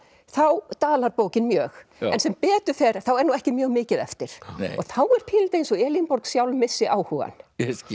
þá dalar bókin mjög en sem betur fer þá er nú ekki mjög mikið eftir og þá er pínulítið eins og Elínborg sjálf missi áhugann